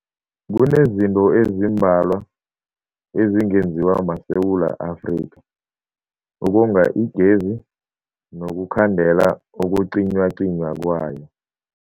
Kunezinto ezimbalwa ezingenziwa maSewula Afrika ukonga igezi nokukhandela ukucinywacinywa kwayo.